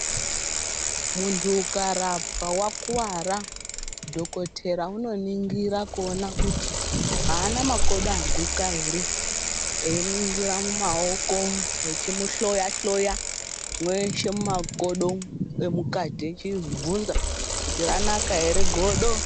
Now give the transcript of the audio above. Mundu ukarapwa wakwara dhokodheya unoningira kuona kuti haana maokodo aguka here eyiningira mumaoko vechimuhloya hloya mweshe mwumakodo umu emukati vechibvunza kuti ranaka here godo.